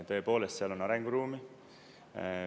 Tõepoolest, seal on arenguruumi.